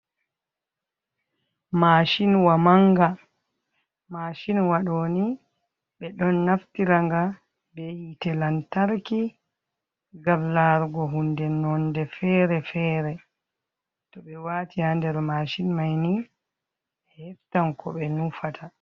Mashinwa manga, mashinwa ɗo ni ɓe ɗon naftira nga be hite lantarki, ngam larugo hunde nonde fere-fere. To ɓe waati ha der mashin mai ni, ɓe heftan ko ɓe nufata.